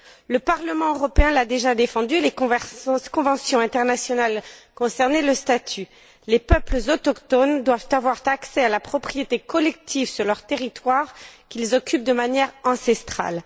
Le Parlement européen l'a déjà défendu et les conventions internationales concernées le prévoient les peuples autochtones doivent avoir accès à la propriété collective sur leurs territoires qu'ils occupent de manière ancestrale.